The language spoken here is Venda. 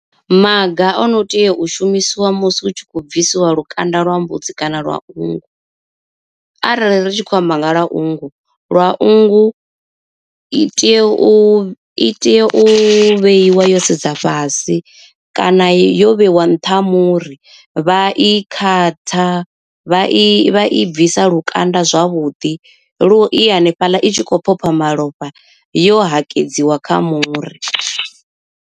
Maga ono tea u shumisiwa musi hu tshi khou bvisiwa lukanda lwa mbudzi kana lwa nngu. Arali ri tshi khou amba nga lwa nngu lwa nngu i tea u i tea u vheiwa yo sedza fhasi kana yo vheiwa nṱha ha muri vha i khatha vha i bvisa lukanda zwavhuḓi lu i hanefhaḽa i tshi khou phopha malofha yo hakedziwa kha muri.